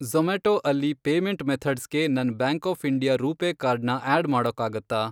ಜೊ಼ಮ್ಯಾಟೊ ಅಲ್ಲಿ ಪೇಮೆಂಟ್ ಮೆಥಡ್ಸ್ಗೆ ನನ್ bank of India RuPay card ನ ಆಡ್ ಮಾಡಕ್ಕಾಗತ್ತಾ?